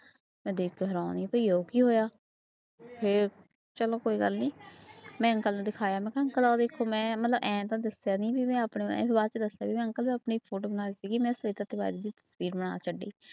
ਮੈਂ ਦੇਖ ਕੇ ਹੈਰਾਨ ਹੀ ਭਈ ਆਹ ਕੀ ਹੋਇਆ, ਫਿਰ ਚਲੋ ਕੋਈ ਗੱਲ ਨੀ ਮੈਂ ਅੰਕਲ ਨੂੰ ਦਿਖਾਇਆ ਮੈਂ ਕਿਹਾ ਅੰਕਲ ਆਹ ਵੇਖੋ ਮੈਂ ਮਤਲਬ ਇਉਂ ਤਾਂ ਦੱਸਿਆ ਨੀ ਵੀ ਮੈਂ ਆਪਣੀ ਬਾਅਦ ਚ ਦੱਸਿਆ ਵੀ ਅੰਕਲ ਮੈਂ ਆਪਣੀ photo ਬਣਾ ਰਹੀ ਸੀਗੀ ਮੈਂ ਸਵੇਤਾ ਤਿਵਾਰੀ ਦੀ ਤਸ਼ਵੀਰ ਬਣਾ ਛੱਡੀ।